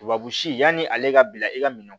Tubabu si yani ale ka bila e ka minɛn